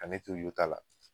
Ka ne to I YOTA la